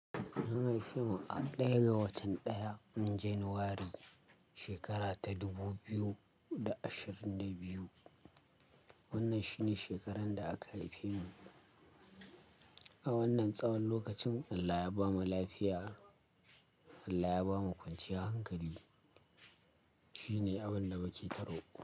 An haife mu a ɗaya ga watan ɗaya, januwari shekara ta dubu biyu da ashirin da biyu. Wannan shi ne shekarar da aka haife mu. A wannan tsawon lokacin Allah ya ba mu lafiya, Allah ya ba mu kwanciyar hankali. Shi ne abun da muke tsoro.